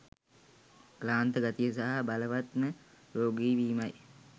ක්ලාන්ත ගතිය සහ බලවත්ව රෝගී වීමයි.